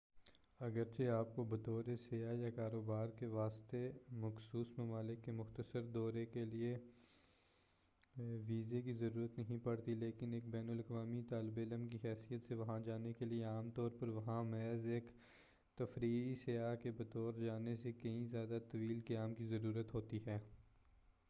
اگرچہ آپ کو بطور سیاح یا کاروبار کے واسطے مخصوص ممالک کے مختصر دورے کے لئے ویزے کی ضرورت نہیں پڑتی لیکن ایک بین الاقوامی طالب علم کی حیثیت سے وہاں جانے کے لئے عام طور پر وہاں محض ایک تفریحی سیاح کے بطور جانے سے کہیں زیادہ طویل قیام کی ضرورت ہوتی ہے